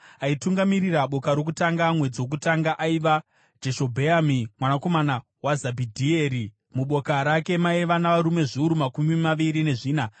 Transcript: Aitungamirira boka rokutanga mwedzi wokutanga, aiva Jashobheami mwanakomana waZabhidhieri. Muboka rake maiva navarume zviuru makumi maviri nezvina.